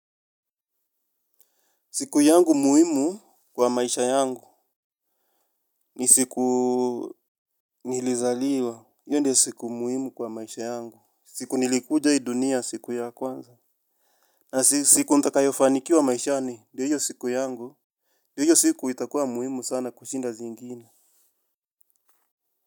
Siku yangu muhimu kwa maisha yangu ni siku nilizaliwa. Hiyo ndio siku muhimu kwa maisha yangu. Siku nilikuja hii dunia siku ya kwanza. Na siku nitakayofanikiwa maishani ndiyo siku yangu. Ndiyo siku itakuwa muhimu sana kushinda zingine.